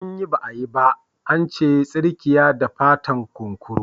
Anyi ba’a yi ba ba ance tsirkiyada fatan kunkuru.